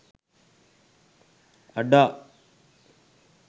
ada